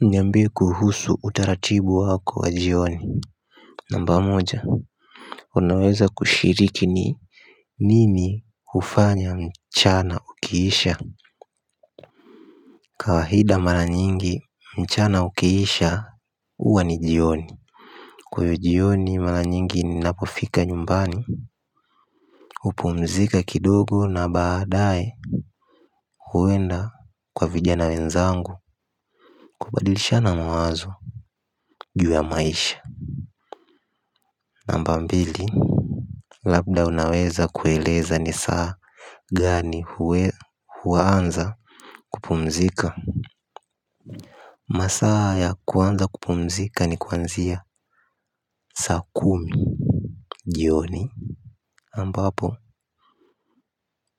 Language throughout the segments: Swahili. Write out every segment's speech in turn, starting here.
Niambie kuhusu utaratibu wako wa jioni? Namba moja. Unaweza kushiriki ni nini hufanya mchana ukiisha. Kawahida mala nyingi mchana ukiisha uwa ni jioni. Kwa iyo jioni mala nyingi ninapofika nyumbani. Hupumzika kidogo na baadae uwenda kwa vijana wenzangu kubadilisha na mawazo juu ya maisha. Namba mbili. Labda unaweza kueleza ni saa gani huwaanza kupumzika. Masaa ya kuanza kupumzika ni kwanzia saa kumi Jioni Ambapo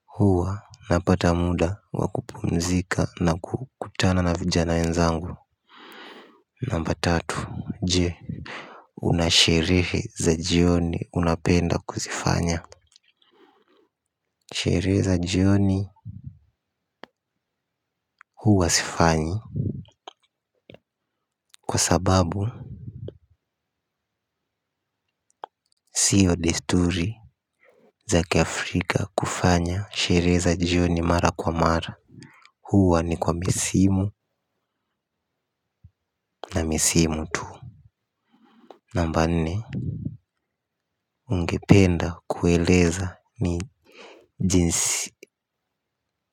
huwa napata muda wa kupumzika na kukutana na vijana wenzangu. Namba tatu je. Unasherehe za jioni unapenda kuzifanya. Sherehe za jioni huwa sifanyi. Kwa sababu sio desturi za ki Afrika kufanya sherehe za jioni mara kwa mara. Huwa ni kwa misimu na mesimu tu. Namba nne. Ungependa kueleza ni jinsi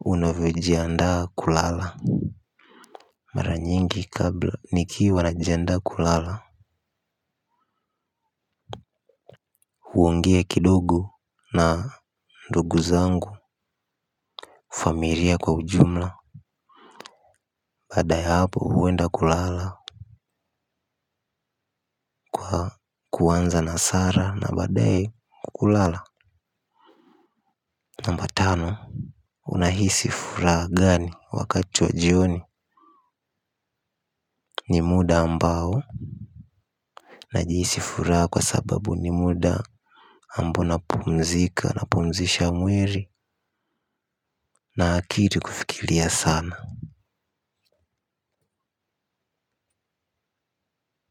unavyojiandaa kulala. Mara nyingi kabla nikiwa najiandaa kulala. Huongea kidogo na ndugu zangu famiria kwa ujumla. Baada ya hapo huenda kulala. Kuanza na sara na badae kulala. Namba tano. Unahisi furaha gani wakati wa jioni ni muda ambao najihisi furaha kwa sababu ni muda ambo na pumzika na pumzisha mwiri. Na akiri kufikilia sana.